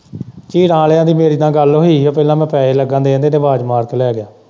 ਚੀਰਾਂ ਆਲ਼ਿਆ ਦੀ ਮੇਰੇ ਨਾਲ਼ ਗੱਲ ਹੋਈ ਹੀ ਤੇ ਪਹਿਲਾਂ ਮੈਂ ਪੈਸੇ ਲੱਗਾ ਦੇਣ ਕਹਿੰਦਾ ਆਵਾਜ਼ ਮਾਰ ਕੇ ਲੈ ਜਾਇਓ।